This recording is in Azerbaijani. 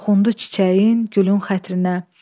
Toxundu çiçəyin, gülün xətrinə.